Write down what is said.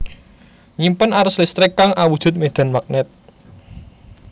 Nyimpen arus listrik kang awujud medan magnet